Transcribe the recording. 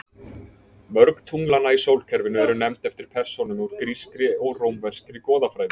Mörg tunglanna í sólkerfinu eru nefnd eftir persónum úr grískri og rómverskri goðafræði.